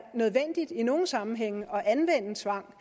nødvendigt i nogle sammenhænge at anvende tvang